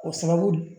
O sababu